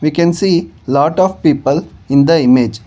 We can see lot of people in the image.